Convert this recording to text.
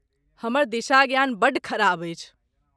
हमर दिशा ज्ञान बड्ड खराब अछि।